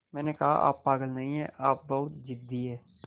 मैंने कहा आप पागल नहीं हैं आप बस बहुत ज़िद्दी हैं